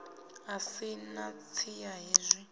a si na siya hezwi